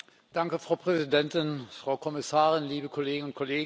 Frau Präsidentin, Frau Kommissarin, liebe Kolleginnen und Kollegen!